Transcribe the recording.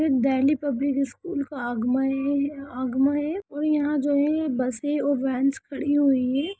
ये Delhi public school का आगमा है आगमय है और यहाँ जो है बसें और वैनस खड़ी हुई हैं।